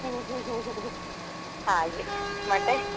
ಹಾಗೆ ಮತ್ತೆ.